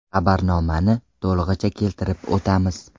Xabarnomani to‘lig‘icha keltirib o‘tamiz.